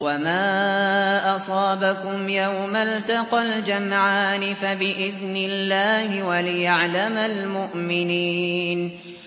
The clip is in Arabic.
وَمَا أَصَابَكُمْ يَوْمَ الْتَقَى الْجَمْعَانِ فَبِإِذْنِ اللَّهِ وَلِيَعْلَمَ الْمُؤْمِنِينَ